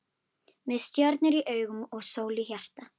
Með stjörnur í augum og sól í hjarta.